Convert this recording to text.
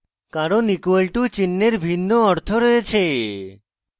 কারণ equal to চিন্হের ভিন্ন অর্থ রয়েছে